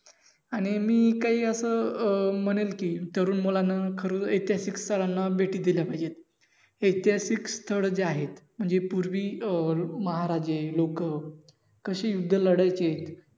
आणि मी काही असं अं म्हणेन कि तरुण मुलान खरंच ऐतिहासिक स्थळांना भेटी दिल्या पाहिजेत. ऐतिहासिक स्थळ जे आहेत म्हणजे पूर्वी अं महाराजे, लोक कशी युद्ध लढायचे.